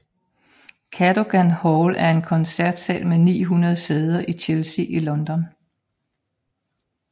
Cadogan Hall er en koncertsal med 900 sæder i Chelsea i London